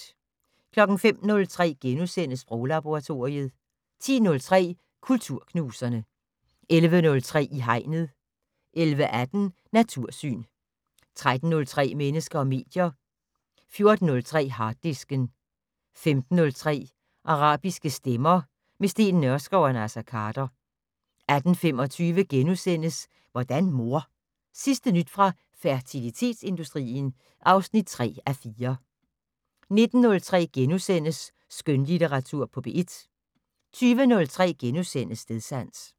05:03: Sproglaboratoriet * 10:03: Kulturknuserne 11:03: I Hegnet 11:18: Natursyn 13:03: Mennesker og medier 14:03: Harddisken 15:03: Arabiske stemmer - med Steen Nørskov og Naser Khader 18:25: Hvordan mor? Sidste nyt fra fertilitetsindustrien (3:4)* 19:03: Skønlitteratur på P1 * 20:03: Stedsans *